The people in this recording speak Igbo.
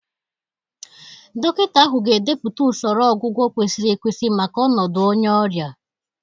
Dọkịta ahụ ga-edepụta usoro ọgwụgwọ kwesịrị ekwesị maka ọnọdụ onye ọrịa.